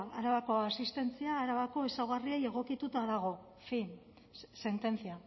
arabako asistentzia arabako ezaugarriei egokituta dago en fin sentencia